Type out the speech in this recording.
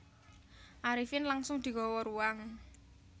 Arifin langsung digawa ruang